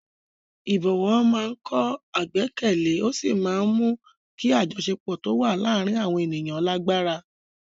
Ìbọ̀wọ̀ máa ń kọ́ ìgbẹ́kẹ̀lé ó sì máa ń mú kí àjọṣepọ̀ tó wà láàárín àwọn ènìyàn lágbára.